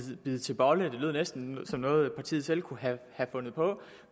bide til bolle det lød næsten som noget partiet selv kunne have fundet på